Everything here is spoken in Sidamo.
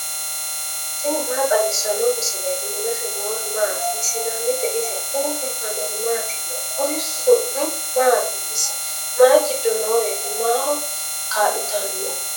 tini maa xawissanno misileeti ? mulese noori maati ? hiissinannite ise ? tini kultannori mattiya? Kuri su'mi maati isi? mayi giddo nooreti? maho kaa'littanno?